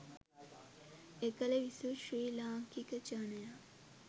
එකල විසූ ශ්‍රී ලාංකික ජනයා